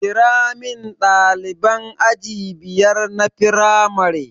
Kiramin ɗaliban aji biyar na firamare